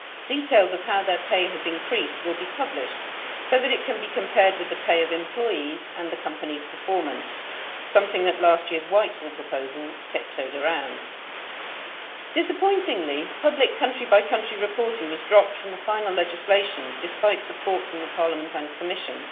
Details of how their pay has increased will be published so that it can be compared with the pay of employees and the company's performance, something that last year's Whitehall proposals tiptoed around. Disappointingly, public country by country reporting was dropped from the final legislation despite support from the Parliament and Commission.